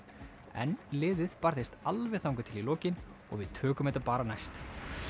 en liðið barðist alveg þangað til í lokin og við tökum þetta bara næst